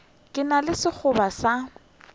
ke na le sekgoba sa